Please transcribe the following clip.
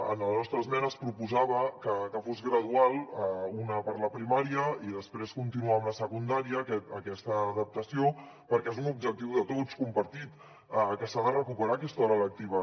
en la nostra esmena es proposava que fos gradual una per a la primària i després continuar amb la secundària aquesta adaptació perquè és un objectiu de tots compartit que s’ha de recuperar aquesta hora lectiva